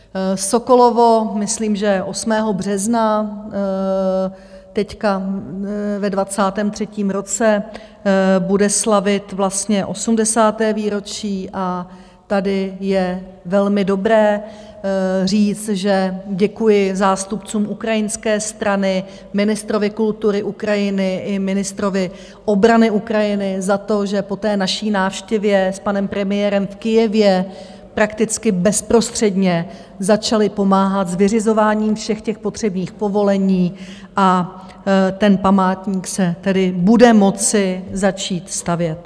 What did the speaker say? Sokolovo, myslím, že 8. března, teď ve 23. roce bude slavit vlastně 80. výročí a tady je velmi dobré říct, že děkuji zástupcům ukrajinské strany, ministrovi kultury Ukrajiny i ministrovi obrany Ukrajiny za to, že po té naší návštěvě s panem premiérem v Kyjevě prakticky bezprostředně začali pomáhat s vyřizováním všech těch potřebných povolení a ten památník se tedy bude moci začít stavět.